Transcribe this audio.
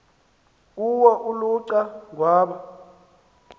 kuwo uluca ngwana